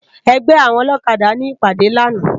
Ègbè áwòn ólókàdá ni ipàdé làná